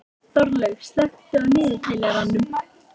Þorlaug, slökktu á niðurteljaranum.